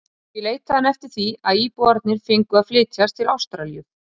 Því leitaði hann eftir því að íbúarnir fengju að flytjast til Ástralíu.